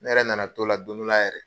N yɛrɛ nana to' la don dɔ la yɛrɛ.